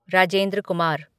Rajendra Kumar